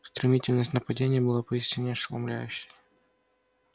стремительность нападения была поистине ошеломляющей